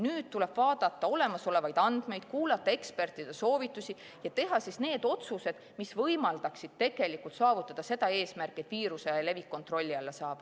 Nüüd tuleb vaadata olemasolevaid andmeid, kuulata ekspertide soovitusi ja teha need otsused, mis võimaldaksid saavutada seda eesmärki, et viiruse levik kontrolli alla saab.